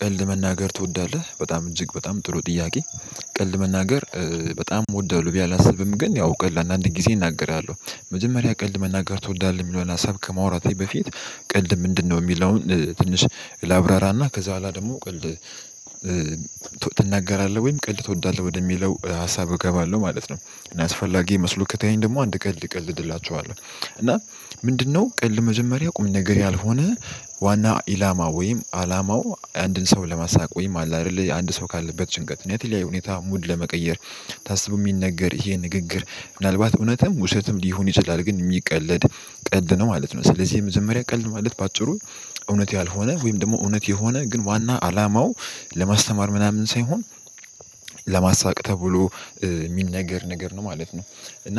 ቀልድ መናገር ትወዳለህ በጣም እጅግ በጣም ጥሩ ጥያቄ ቀልድ መናገር። በጣም እወዳለሁ ብየ አላስብም ግን ያው ቀልድ አንዳንድ ጊዜ እናገራለሁ መጀመሪያ ቀልድ መናገር ትወዳለህ የሚለውን ሀሳብ ከማውራቴ በፊት ቀልድ ምንድነው የሚለውን ትንሽ ላብራራና ከዛ በኋላ ደግሞ ቀልድ ትናገራለህ ወይም ቀልድ ትወዳለህ ወደሚለው ሀሳብ እገባለሁ ማለት ነው። እና አስፈላጊ መስሎ ከታየኝ ደግሞ አንድ ቀልድ እቀልድላችኋለሁ እና ምንድነው ቀልድ መጀመሪያ ቁም ነገር ያልሆነ ዋና ኢላማ ወይም አላማው አንድን ሰው ለማሳቅ ወይም አለ አይደለ አንድ ሰው ካለበት ጭንቀት እና የተለያየ ሁኔታ ሙድ ለመቀየር ታስቦ የሚነገር ይሄ ንግግር ምናልባት እውነትም ውሸትም ሊሆን ይችላል ግን የሚቀለድ ቀልድ ነው ማለት ነው። ስለዚህ የመጅመሪያ ቀልድ ማለት በአጭሩ እውነት ያልሆነ ወይም ደግሞ እውነት የሆነ ግን ዋና አላማው ለማስተማር ምናምን ሳይሆን ተብሎ የሚነገር ነገር ነው ማለት ነው። እና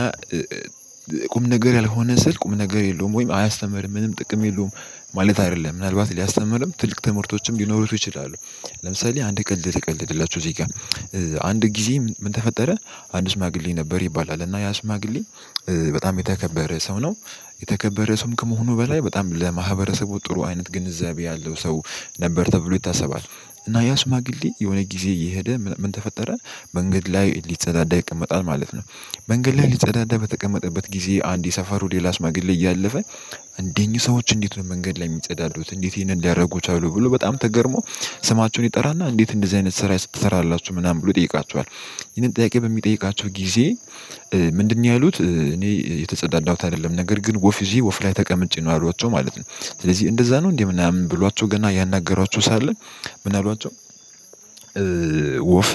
ቁም ነገር ያልሆነ ስል ቁም ነገር የለውም ወይም አያስተምርም ምንም ጥቅም የለውም ማለት አይደለም ምናልባት ሊያስተምርም ትልቅ ትምህርቶችም ሊኖሩት ይችላሉ። ለምሳሌ አንድ ቀልድ ልቀልድላችሁ እዚህ ጋር አንድ ጊዜ ምን ተፈጠረ አንድ ሽማግሌ ነበር ይባላል እና ያ ሽማግሌ በጣም የተከበረ ሰው ነው የተከበረ ሰውም ከመሆኑ በላይ በጣም ለማህበረሰቡ ጥሩ አይነት ግንዛቤ ያለው ሰው ነበር ተብሎ ይታሰባል። እና ያሽማግሌ የሆነ ጊዜ እየሄደ ምን ተፈጠረ መንገድ ላይ ሊጸዳዳ ይቀመጣል ማለት ነው። መንገድ ላይ ሊጸዳዳ በተቀመጠበት ጊዜ አንድ የሰፈሩ ሌላ ሽማግሌ እያለፈ እነኝህ ሰዎች እንዴት ነው መንገድ ላይ የሚጸዳሉት እንዴት ይሄንን እንዲያደርጉ ቻሉ ብሎ በጣም ተገርሞ ስማቸውን ይጠራና እንዴት እንደዚህ አይነት ስራ ትሰራላችሁ ምናምን ብሎ ይጠይቃችኋል። ይሄንን ጥያቄ በሚጠይቃቸው ጊዜ ምንድነው? ያሉት እኔ የተጸዳዳሁት አይደለም ነገር ግን ወፍ ይዤ ወፍ ላይ ተቀምጬ ነው ያሏቸው ማለት ነው። ስለዚህ እንደዛ ነው እንዴ ምናምን ብሏቸው ገና ያናገሯቸው ሳለ ምን አሏቸው? ወፍ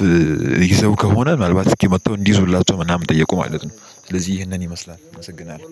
ይዘው ከሆነ ምናልባት እስኪ መጥተው እንዲይዙላቸው ምናምን ጠየቁ ማለት ነው። ስለዚህ ይህንን ይመስላል አመሰግናለሁ